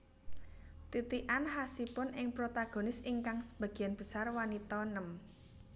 Titikan khasipun ing protagonis ingkang sebagian besar wanita nem